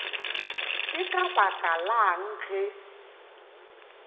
ke ka baka lang ge